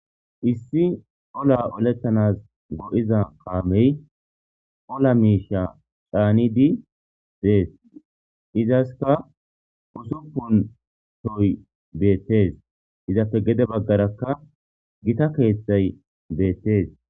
Issi ola olettanas go7iza kaamey ola miisha caani di dees izaska usuppuntoy beettees izappe gede baggarakka gita keeththay beettees.